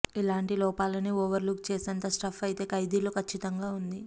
ఇలాంటి లోపాలని overlook చేసేంత స్టఫ్ అయితే ఖైదీలో ఖచ్చితంగా వుంది